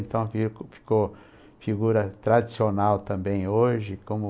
Então fica ficou figura tradicional também hoje, como...